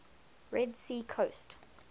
red sea coast